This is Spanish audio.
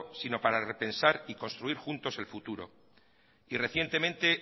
sino para repensar y construir juntos el futuro y recientemente